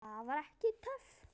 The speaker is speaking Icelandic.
Það var ekki töff.